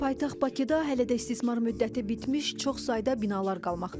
Paytaxt Bakıda hələ də istismar müddəti bitmiş çox sayda binalar qalmaqdadır.